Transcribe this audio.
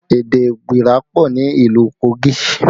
Èdè igbira pọ ni ìlú Kogi